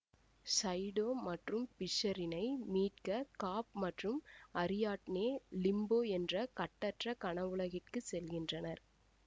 சைடோ மற்றும் பிஷ்சரினை மீட்க காப் மற்றும் அரியாட்னே லிம்போ என்ற கட்டற்ற கனவுலகிற்கு செல்கின்றனர்